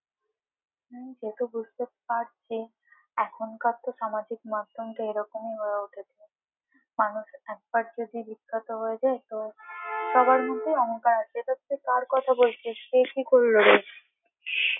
হুম সে তো বুঝতে পারছি, এখন কার তো সামাজিক মাধ্যম তো এইরকমই হয়ে উঠেছে মানুষ একবার যদি বিখ্যাত হয়ে যায়, তো সবার মধ্যেই অহংকার আসে এটা তুই কার কথা বলছিস? কে কি করলো?